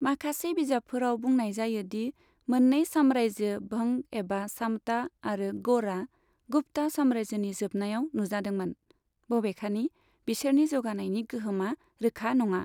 माखासे बिजाबफोराव बुंनाय जायो दि मोन्नै साम्रायजो भंग एबा सामता आरो गौड़आ गुप्ता साम्रायजोनि जोबनायाव नुजादोंमोन, बबेखानि बिसोरनि जौगानायनि गोहोमा रोखा नङा।